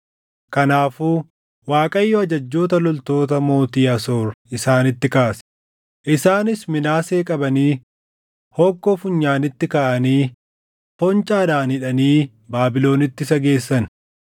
Kanaafuu Waaqayyo ajajjoota loltoota mootii Asoor isaanitti kaase; isaanis Minaasee qabanii hokkoo funyaanitti kaʼaanii foncaadhaan hidhanii Baabilonitti isa geessan.